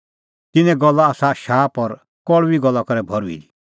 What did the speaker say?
तिन्नें गल्ला आसा शाप और कल़ुई गल्ला करै भर्हुई दी